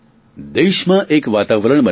દેશમાં એક વાતાવરણ બનાવો